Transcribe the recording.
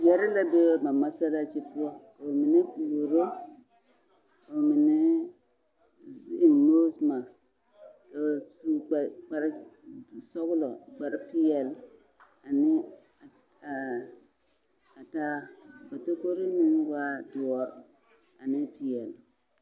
Yɛrii la be ba masalaakyi poɔ ka ba mine puoro ka minee eŋ noose mase a su kparresɔglɔ kparrepeɛl ane ɛɛ ataa ka takoroo meŋ waa doɔre ane peɛl.